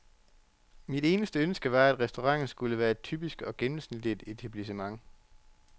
Mit eneste ønske var, at restauranten skulle være et typisk og gennemsnitligt etablissement.